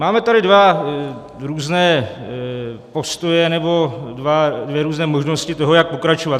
Máme tady dva různé postoje nebo dvě různé možnosti toho, jak pokračovat.